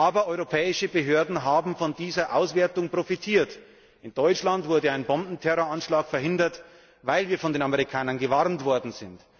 Aber europäische Behörden haben von dieser Auswertung profitiert. In Deutschland wurde ein Bombenterroranschlag verhindert, weil wir von den Amerikanern gewarnt worden sind.